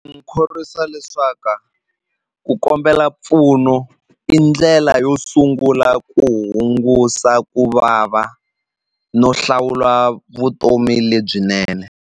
khorwisa leswaku ku kombela mpfuno i ndlela yo sungula ku hungusa ku vava no hlawula vutomi lebyinene.